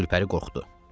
Gülpəri qorxdu.